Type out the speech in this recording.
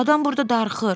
Adam burda darıxır.